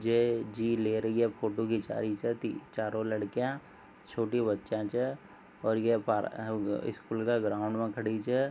जे जी ले रही है फोटो खिंचा रही चारो लड़किया छोटी बच्चिया छे और ये अ आ पा स्कूल के ग्राउंड में खड़ी छे।